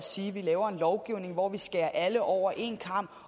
sige at vi laver en lovgivning hvor vi skærer alle over én kam